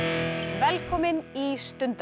velkomin í